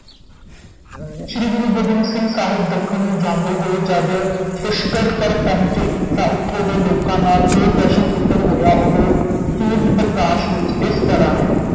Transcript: ਸ੍ਰੀ ਗੁਰੂ ਗੋਬਿੰਦ ਸਿੰਘ ਸਾਹਿਬ ਦੱਖਣ ਨੂੰ ਜਾਂਦੇ ਹੋਏ ਜਦ ਪੁਸ਼ਕਰ ਪਰ ਪਹੁੰਚੇ ਤਾਂ ਉਥੇ ਦੋ ਲੋਕਾਂ ਨਾਲ ਜੋ ਪ੍ਰਸ਼ਨ ਉੱਤਰ ਹੋਇਆ ਉਹ ਸੂਰਜ ਪ੍ਰਕਾਸ਼ ਵਿਚ ਇਸ ਤਰ੍ਹਾਂ ਹੈ